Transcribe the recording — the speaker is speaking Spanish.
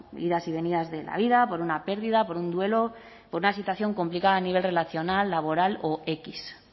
idas y venidas de la vida por una pérdida por un duelo por una situación complicada a nivel relacional laboral o equis